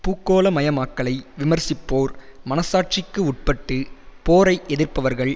பூகோளமயமாக்கலை விமர்சிப்போர் மனச்சாட்சிக்கு உட்பட்டு போரை எதிர்ப்பவர்கள்